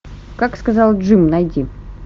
как сказал джим найди